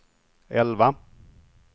elva